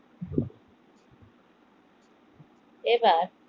এবার